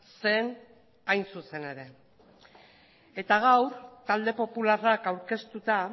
zen hain zuzen ere eta gaur talde popularrak aurkeztuta